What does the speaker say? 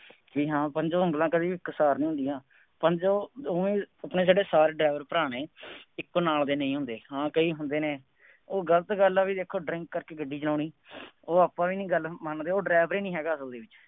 ਬਈ ਹਾਂ ਪੰਜੋ ਉਂਗਲਾਂ ਕਦੀ ਇਕਸਾਰ ਨਹੀਂ ਹੁੰਦੀਆਂ। ਪੰਜੋ ਉਂ ਉਂਗਲਾ ਛੱਡੋ ਸਾਰੇ driver ਭਰਾ ਨੇ, ਇਕੋ ਨਾਲ ਦੇ ਨਹੀਂ ਹੁੰਦੇ, ਹਾਂ ਕਈ ਹੁੰਦੇ ਨੇ, ਉਹ ਗਲਤ ਗੱਲ ਆ ਬਈ ਦੇਖੋ drink ਕਰਕੇ ਗੱਡੀ ਚਲਾਉਣੀ, ਉਹ ਆਪਾਂ ਵੀ ਨਹੀਂ ਗੱਲ ਮੰਨਦੇ, ਉਹ driver ਹੀ ਨਹੀਂ ਹੈਗਾ।